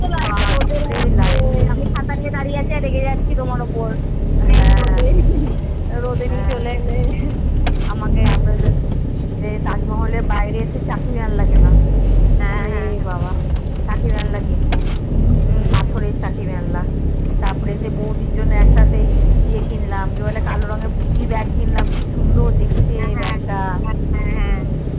চাকি বেলনা কিনবো কসরের চাকি বেলনা তারপরে সে বৌদির জন্যে এটা সেই কিনলাম একটা সি কালো রঙের পুটি ব্যাগ কিনল কি সুন্দর দেখতে ব্যাগটা